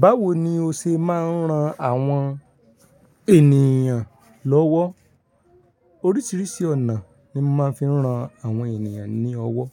Báwo ni o ṣe máa ń ran àwọn ènìyàn lọ́wọ́? Oríṣiríṣi ọ̀nà ni mo máa ń fi ran àwọn ènìyàn ní ọwọ́.